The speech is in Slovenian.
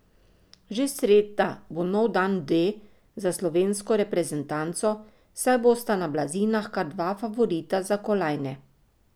Že sreda bo nov dan D za slovensko reprezentanco, saj bosta na blazinah kar dva favorita za kolajne.